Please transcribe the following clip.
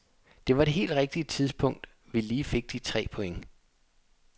Det var det helt rigtige tidspunkt vi lige fik de tre point.